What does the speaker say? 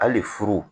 Hali furu